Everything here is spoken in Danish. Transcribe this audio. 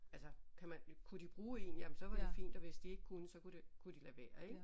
Altså kan man kunne de bruge en jamen så var det fint og hvis de ikke kunne så kunne det kunne de lade være ik